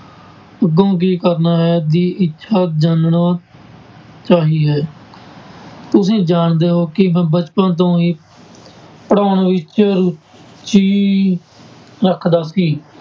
ਅੱਗੋਂ ਕੀ ਕਰਨਾ ਹੈ ਦੀ ਇੱਛਾ ਜਾਨਣਾ ਚਾਹੀ ਹੈ ਤੁਸੀਂ ਜਾਣਦੇ ਹੋ ਕਿ ਮੈਂ ਬਚਪਨ ਤੋਂ ਹੀ ਪੜ੍ਹਾਉਣ ਵਿੱਚ ਰੁੱਚੀ ਰੱਖਦਾ ਸੀ।